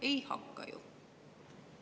Ei hakka ju!